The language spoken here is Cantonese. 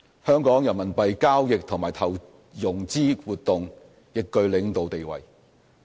香港人民幣交易和投融資活動亦具領導地位。